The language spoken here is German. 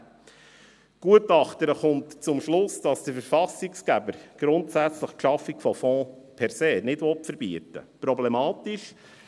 Die Gutachterin kommt zum Schluss, dass der Verfassungsgeber grundsätzlich die Schaffung von Fonds per se nicht verbieten will.